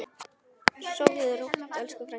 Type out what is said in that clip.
Sofðu rótt elsku frænka.